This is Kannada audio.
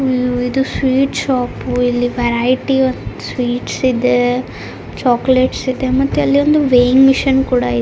ಇದು ಸ್ವೀಟ್ ಶಾಪ್ ಇಲ್ಲಿ ವೆರೈಟಿ ಸ್ವೀಟ್ಸ್ ಇದೆ ಚಾಕ್ಲೆಟ್ಸ್ ಇದೆ ಮತ್ತೆ ಅಲ್ಲೊಂದು ವೆಯ್ಗ್ಹಿಂಗ್ ಮೆಷಿನ್ ಕೂಡಾ ಇದೆ .